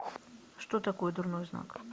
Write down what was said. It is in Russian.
что такое дурной знак